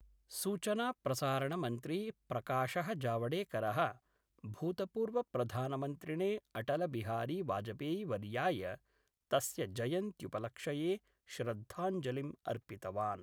सूचनाप्रसारणमन्त्री प्रकाश: जावडेकर: भूतपूर्वप्रधानमन्त्रिणे अटलबिहारी वाजपेयीवर्य्याय तस्य जयन्त्युपलक्ष्ये श्रद्धाञ्जलिं अर्पितवान्।